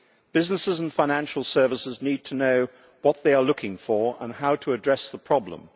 Businesses and financial services need to know what they are looking for and how to address the problem.